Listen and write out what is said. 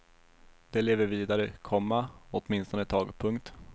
De lever vidare, komma åtminstone ett tag. punkt